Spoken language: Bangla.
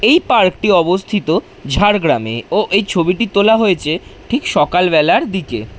এই পার্ক টি অবস্থিত ঝাড়গ্রামে ও এই ছবিটি তোলা হয়েছে ঠিক সকাল বেলার দিকে।